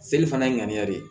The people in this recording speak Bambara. Seli fana ye ŋaniya de ye